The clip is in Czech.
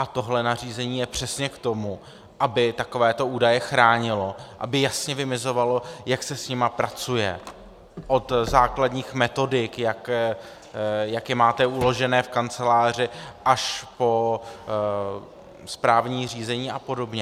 A tohle nařízení je přesně k tomu, aby takovéto údaje chránilo, aby jasně vymezovalo, jak se s nimi pracuje, od základních metodik, jak je máte uložené v kanceláři, až po správní řízení a podobně.